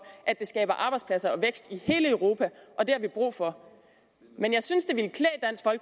at det skaber arbejdspladser og vækst i hele europa og det har vi brug for men jeg synes